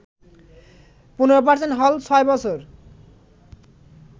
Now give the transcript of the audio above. ১৫% হল ৬ বছর